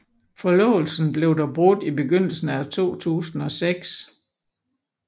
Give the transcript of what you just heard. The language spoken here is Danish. Forlovelsen blev dog brudt i begyndelsen af 2006